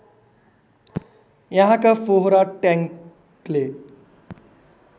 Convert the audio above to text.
यहाँका फोहरा ट्याङ्कले